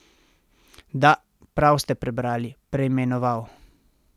Da, prav ste prebrali, preimenoval.